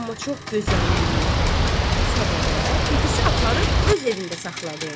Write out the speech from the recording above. Amma çox gözəlliyi səbəbə bibisi aparıb öz evində saxladı onu.